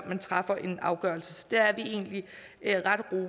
man træffer en afgørelse så der er vi egentlig ret